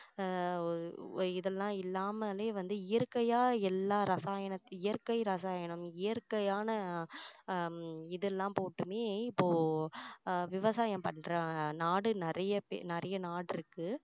ஆஹ் இதெல்லாம் இல்லாமலே வந்து இயற்கையா எல்லா ரசாயனம் இயற்கை ரசாயனம் இயற்கையான ஹம் இதெல்லாம் போட்டுமே இப்போ அஹ் விவசாயம் பண்ற நாடு நிறைய பெ~நிறைய நாடு இருக்கு